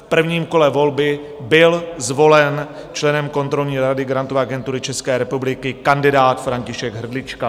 V prvním kole volby byl zvolen členem kontrolní rady Grantové agentury České republiky kandidát František Hrdlička.